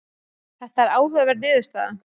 Þetta er áhugaverð niðurstaða.